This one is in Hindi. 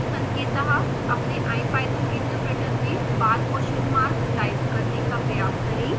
संकेतः अपने ipython इंटरप्रेटर में bar question mark टाइप करने का प्रयास करें